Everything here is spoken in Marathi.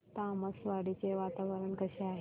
तामसवाडी चे वातावरण कसे आहे